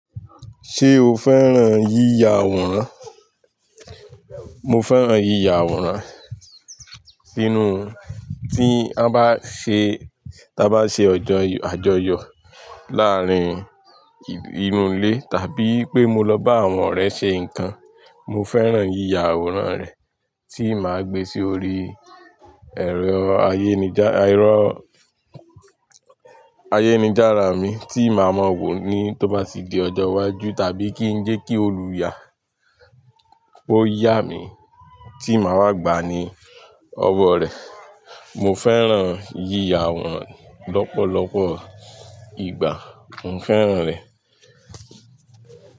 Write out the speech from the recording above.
Ṣé o fẹ́ràn yíya àwòrán? Mo fẹ́ràn yíya àwòrán sínú tí a bá ṣe, tí a bá ṣe ọjọ́ àjọyọ̀ láàrín inú ilé tàbí pé mo lọ bá àwọn ọ̀rẹ́ ṣe nǹkan. Mo fẹ́ràn yíya àwòrán rẹ̀ tí màá gbe sí orí ẹ̀rọ ayémijára mi tí màá mọ wò ni tó bá ti di ọjọ́ iwájú tàbí kí n jẹ́ kí ó lu yá, ó yá mi tí màá wá gba ni ọwọ́ rẹ. Mo fẹ́ràn yíya àwòrán lọ́pọ̀lọpọ̀ ìgbà. Mo fẹ́ràn rẹ̀.